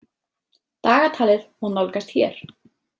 Dagatalið má nálgast hér.